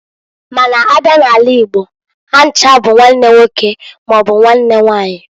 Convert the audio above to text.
Ma n'a bia n'ala igbo ha ncha bu nwanne nwoke maọbụ nwanne nwanyị.